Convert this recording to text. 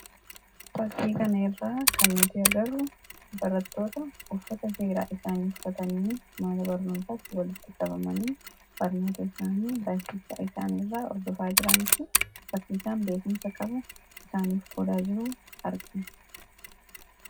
Fakkii kanarraa kan nuti agarru barattoota uffata seeraa isaanii uffatanii mana barnootaatti walitti qabamanii barnoota isaanii barsiisaa isaaniirraa hordofaa jiranii fi barsiisaan beekumsa qabu isaaniif qoodaa jiru argina.